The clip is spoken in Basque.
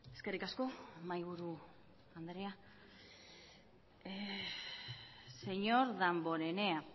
eskerrik asko mahaiburu andrea señor damborenea